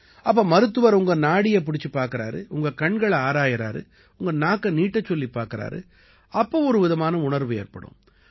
அப்ப மருத்துவர் உங்க நாடிய பிடிச்சுப் பார்க்கறாரு உங்க கண்களை ஆராயறாரு உங்க நாக்கை நீட்டச்சொல்லிப் பார்க்கறாரு அப்ப ஒரு விதமான உணர்வு ஏற்படும்